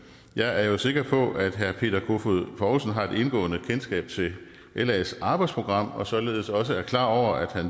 jeg er sikker på at herre peter kofod poulsen har et indgående kendskab til las arbejdsprogram og således også er klar over at